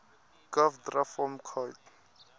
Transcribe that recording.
gov dra form coid